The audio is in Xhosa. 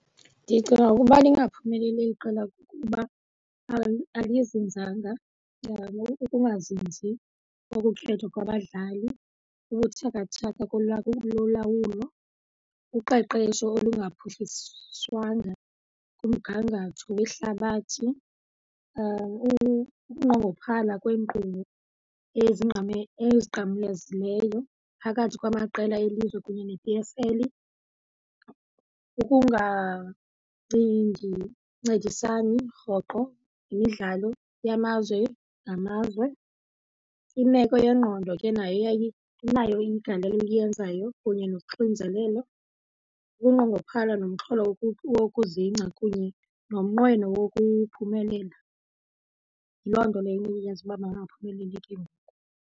Ndicinga ukuba lingaphumeleli eli qela kukuba alizinzanga njengangoku ukungazinzi kokukhethwa kwabadlali, ubuthakathaka lolawulo, uqeqesho olungaphuhliswanga kumgangatho wehlabathi, ukunqongophala kweenkqubo ezinqamlezileyo phakathi kwamaqela elizwe kunye ne-P_S_L, ukungacingi rhoqo yimidlalo yamazwe ngamazwe. Imeko yengqondo ke nayo inayo igalelo eliyenzayo kunye noxinizelelo, ukunqongophala nomxholo wokuzingca kunye nomnqweno wokuphumelela. Yiloo nto leyo eyenza uba bangaphumeleli ke ngoku.